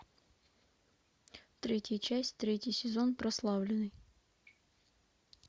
третья часть третий сезон прославленный